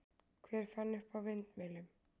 Hver fann upp á vindmyllum?